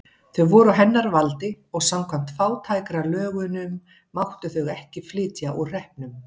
Þau voru á hennar valdi og samkvæmt fátækralögunum máttu þau ekki flytja úr hreppnum.